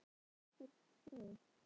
Þetta eru svo sem engin stórfelld fræði.